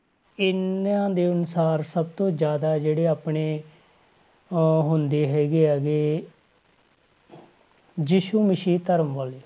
ਇਹਨਾਂ ਦੇ ਅਨੁਸਾਰ ਸਭ ਤੋਂ ਜ਼ਿਆਦਾ ਜਿਹੜੇ ਆਪਣੇ ਅਹ ਹੁੰਦੇ ਹੈਗੇ ਆ ਗੇ ਯਿਸੂ ਮਸੀਹ ਧਰਮ ਵਾਲੇ